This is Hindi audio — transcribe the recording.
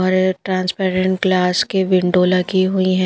और ट्रांसपेरेंट गिलास की विंडो लगी हुई है।